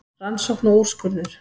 Rannsókn og úrskurður